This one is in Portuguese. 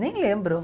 Nem lembro.